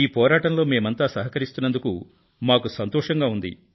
ఈ పోరాటంలో మేమంతా సహకరిస్తున్నందుకు మాకు సంతోషంగా ఉంది